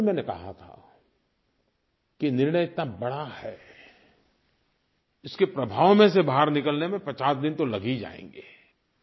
और तब भी मैंने कहा था कि निर्णय इतना बड़ा है इसके प्रभाव में से बाहर निकलने में 50 दिन तो लग ही जाएँगे